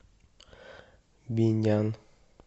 бинян